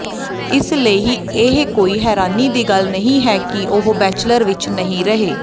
ਇਸ ਲਈ ਇਹ ਕੋਈ ਹੈਰਾਨੀ ਦੀ ਗੱਲ ਨਹੀਂ ਹੈ ਕਿ ਉਹ ਬੈਚਲਰ ਵਿੱਚ ਨਹੀਂ ਰਹੇ